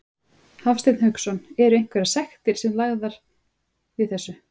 Hafsteinn Hauksson: Er einhverjar sektir sem eru lagðar við þessu?